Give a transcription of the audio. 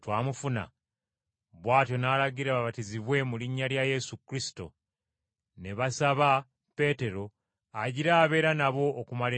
Bw’atyo n’alagira babatizibwe mu linnya lya Yesu Kristo. Ne basaba Peetero agira abeera nabo okumala ennaku ntonotono.